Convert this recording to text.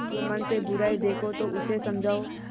जुम्मन में बुराई देखो तो उसे समझाओ